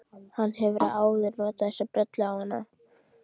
Hann hefur áður notað þessa brellu á hana.